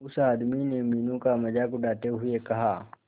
उस आदमी ने मीनू का मजाक उड़ाते हुए कहा